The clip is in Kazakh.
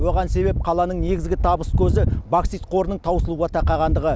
оған себеп қаланың негізгі табыс көзі боксит қорының таусылуға тақағандығы